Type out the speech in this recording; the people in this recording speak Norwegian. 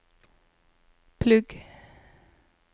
plugg